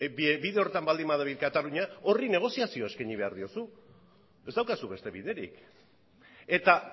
bide horretan baldin badabil katalunia horri negoziazioa eskaini behar diozu ez daukazu beste biderik eta